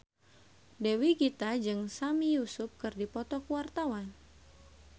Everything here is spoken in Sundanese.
Dewi Gita jeung Sami Yusuf keur dipoto ku wartawan